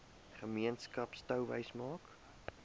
gemeenskap touwys maak